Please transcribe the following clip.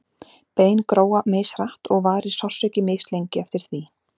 bein gróa mishratt og varir sársauki mislengi eftir því